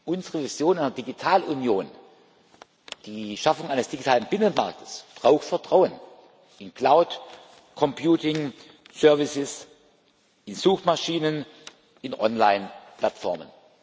Unsere Mission als Digitalunion, die Schaffung eines digitalen Binnenmarkts braucht Vertrauen in Cloud Computing Dienste, in Suchmaschinen, in Online Plattformen.